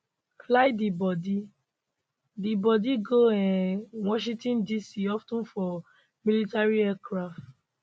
fly di bodi di bodi go um washington dc of ten for military aircraft